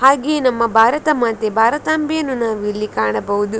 ಹಾಗೆ ನಮ್ಮ ಭಾರತ ಮಾತೆ ಭಾರತಾಂಬೆಯನ್ನು ನಾವು ಇಲ್ಲಿ ಕಾಣಬಹುದು.